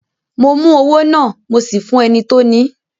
Mo mú owó náà, mo sì fún ẹni tí ó ni í.